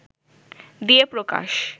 দিয়ে প্রকাশ